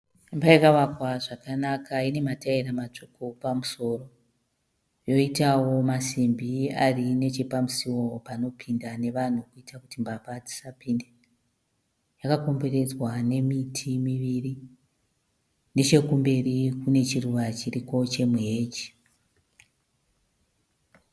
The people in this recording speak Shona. Imba yakavakwa zvakanaka ine mataera matsvuku pamusoro. Yoitawo masimbi ari nechepamusiwo panopinda nevanhu kuitira kuti mbavha dzisapinde. Yakakomberedzwa nemiti miviri. Nechekumberi kune chiruva chiriko chemu heji.